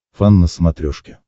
фан на смотрешке